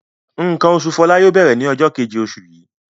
Nǹkan oṣù Fọlá yóò bẹ̀rẹ̀ ní ọjọ́ kejì oṣù yìí.